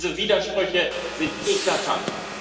Diese Widersprüche sind eklatant.